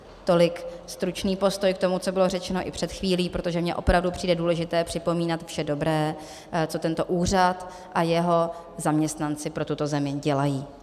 Tolik stručný postoj k tomu, co bylo řečeno i před chvílí, protože mně opravdu přijde důležité připomínat vše dobré, co tento úřad a jeho zaměstnanci pro tuto zemi dělají.